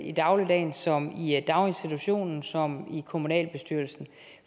i dagligdagen såvel i daginstitutionen som i kommunalbestyrelsen